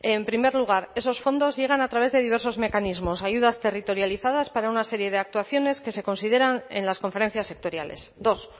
en primer lugar esos fondos llegan a través de diversos mecanismos ayudas territorializadas para una serie de actuaciones que se consideran en las conferencias sectoriales dos